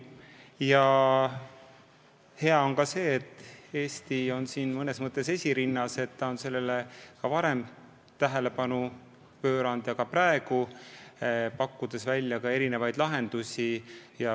Ja hea on ka see, et Eesti on selles mõttes esirinnas, et ta on sellele probleemile ka varem tähelepanu pööranud ning praegu pakub välja erinevaid lahendusi.